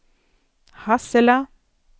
Hassela